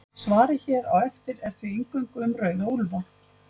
Svarið hér á eftir er því eingöngu um rauða úlfa.